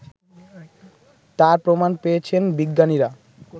তার প্রমাণ পেয়েছেন বিজ্ঞানীরা